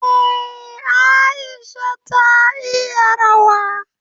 Eh, Aisha ta iya rawa.